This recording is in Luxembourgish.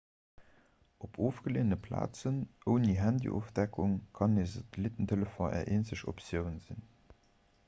op ofgeleeëne plazen ouni handyofdeckung kann e satellittentelefon är eenzeg optioun sinn